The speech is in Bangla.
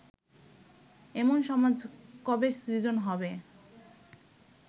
এমন সমাজ কবে সৃজন হবে